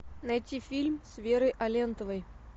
найти фильм с верой алентовой